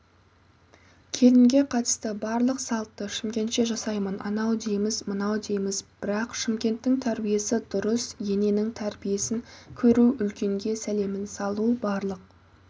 келінге қатысты барлық салтты шымкентше жасаймын анау дейміз мынау дейміз бірақ шымкенттің тәрбиесі дұрыс ененің тәрбиесін көру үлкенге сәлемін салу барлық